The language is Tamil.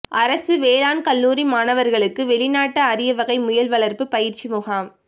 அரசு வேளாண் கல்லூரி மாணவர்களுக்கு வெளிநாட்டு அரியவகை முயல் வளர்ப்பு பயிற்சி முகாம்